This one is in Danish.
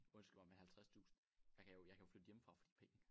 Undskyld mig men 50 tusind jeg kan jo jeg kan jo flytte hjemmefra for de penge